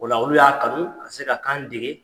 Ola olu y'a kanu o ka se ka kan dege.